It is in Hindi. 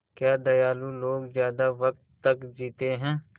क्या दयालु लोग ज़्यादा वक़्त तक जीते हैं